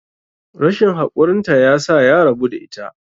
rashin haƙurinta ya sa ya rabu da ita